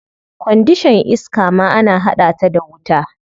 Kwandishan iska ma ana hada ta da wuta.